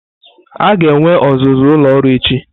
A ga-enwe ọzụzụ ụlọ ọrụ echi.